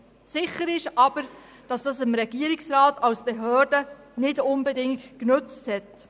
Sicher ist jedoch, dass es dem Regierungsrat als Behörde nicht unbedingt genützt hat.